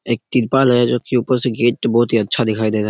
एक त्रिपाल हैं जो की ऊपर से गेट बहुत ही अच्छा दिखाई दे रहा हैं।